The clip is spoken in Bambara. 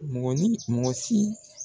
Mɔgɔ ni mɔgɔ si